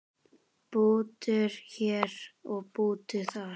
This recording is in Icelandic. Bútur hér og bútur þar.